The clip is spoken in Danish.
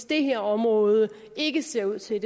det her område ikke ser ud til at